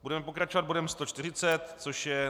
Budeme pokračovat bodem 140, což je